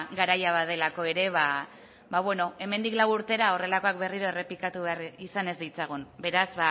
garaia badelako ere hemendik lau urtera horrelakoak berriro errepikatu behar izan ez ditzagun beraz